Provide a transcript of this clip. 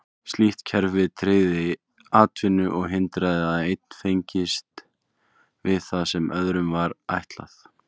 Slíkt kerfi tryggði atvinnu og hindraði að einn fengist við það sem öðrum var ætlað.